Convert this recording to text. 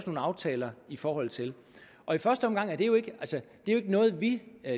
aftaler i forhold til og i første omgang er det jo ikke noget vi